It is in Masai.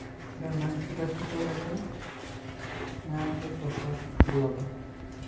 ore ena enkitashoto oltau, niaku torok ilbulabul.